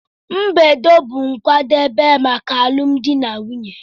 Mbedo bụ nkwadebe maka alụmdi na nwunye.